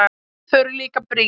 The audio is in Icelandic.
Þau eru líka brýn.